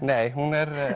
nei hún er